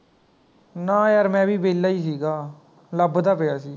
ਨਾ ਯਾਰ ਮੈਂ ਵੀ ਵਿਹਲਾ ਹੀ ਗਾ ਲੱਭਦਾ ਪਿਆ ਸੀ